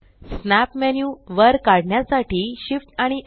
snap menu वर काढण्यासाठी Shift आणि स्